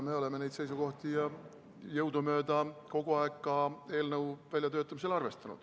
Me neid seisukohti jõudumööda kogu aeg ka eelnõu väljatöötamisel arvestasime.